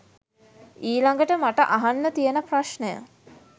ඊලඟට මට අහන්න තියෙන ප්‍රශ්ණය